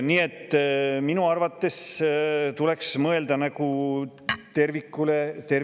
Nii et minu arvates tuleks mõelda tervikule.